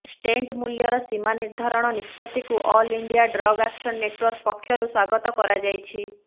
stent ମୂଲ୍ୟର ସୀମା ନିର୍ଧାରଣ ନିଷ୍ପତ୍ତିକୁ all India drug action network ପକ୍ଷରୁ ସ୍ୱାଗତ କରାଯାଇଛି